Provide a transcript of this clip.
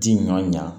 Ji ɲɔn ɲa